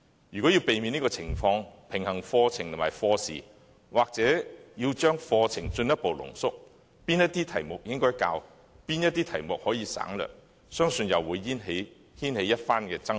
如果要避免出現這種情況，平衡課程和課時，課程或須進一步濃縮，屆時哪些題目應教授、哪些題目可以省略，相信又會掀起一番爭論。